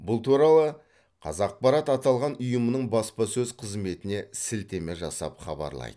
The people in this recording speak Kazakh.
бұл туралы қазақпарат аталған ұйымның баспасөз қызметіне сілтеме жасап хабарлайды